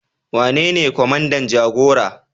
Wanene kwamandan jagora?